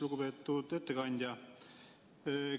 Lugupeetud ettekandja!